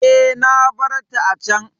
E, na bar ta a can.